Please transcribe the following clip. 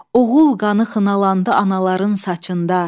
Oğul qanı xınalandı anaların saçında.